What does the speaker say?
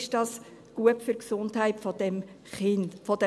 Ist dies gut für die Gesundheit der Kinder?